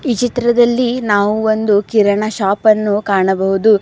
ಈ ಚಿತ್ರದಲ್ಲಿ ನಾವು ಒಂದು ಕಿರಣ ಶಾಪ್ ಅನ್ನು ಕಾಣಬಹುದು.